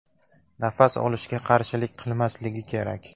Nafas olishga qarshilik qilmasligi kerak!